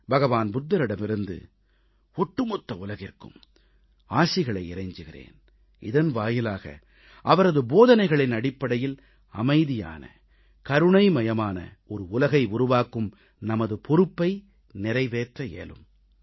புத்தபிரானிடமிருந்து ஒட்டுமொத்த உலகிற்கும் ஆசிகளை இறைஞ்சுகிறேன் இதன் வாயிலாக அவரது போதனைகளின் அடிப்படையில் அமைதியான கருணைமயமான ஒரு உலகை உருவாக்கும் நமது பொறுப்பை நிறைவேற்ற இயலும்